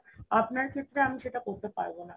আপনার ক্ষেত্রে আমি সেটা করতে পারবো না